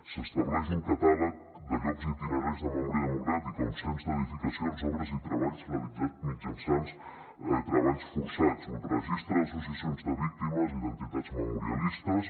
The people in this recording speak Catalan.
s’estableix un catàleg de llocs i itineraris de memòria democràtica un cens d’edificacions obres i treballs realitzats mitjançant treballs forçats un registre d’associacions de víctimes i d’entitats memorialistes